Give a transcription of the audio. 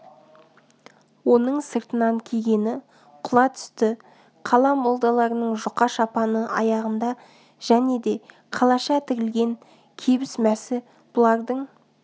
оның сыртынан кигені құла түсті қала молдаларының жұқа шапаны аяғында және де қалаша тігілген кебіс-мәсі бұлардың